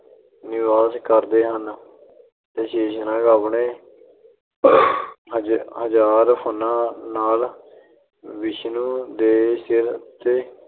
ਨਿਵਾਸ ਕਰਦੇ ਹਨ ਅਤੇ ਸ਼ੇਸ਼ਨਾਗ ਆਪਣੇ ਹਜ਼ਾਰ ਫਣਾਂ ਨਾਲ ਵਿਸ਼ਨੂੰ ਦੇ ਸਿਰ ਉੱਤੇ